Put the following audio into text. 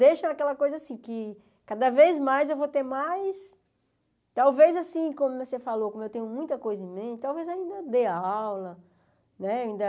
Deixa aquela coisa assim, que cada vez mais eu vou ter mais... Talvez assim, como você falou, como eu tenho muita coisa em mente, talvez ainda dê aula, né? Ainda